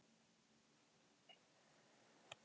Íslandsmeistarar KR fá liðsauka